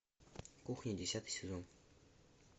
кухня десятый сезон